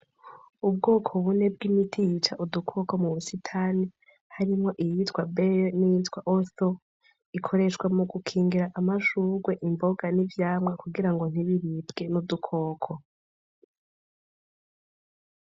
Ubwoko bune bw'imiti yica udukoko mu busitani, harimwo iyitwa bere n'iyitwa osito, ikoreshwa mu gukingira amashurwe, imboga, n'ivyamwa kugira ngo ntibiribwe n'udukoko.